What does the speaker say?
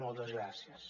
moltes gràcies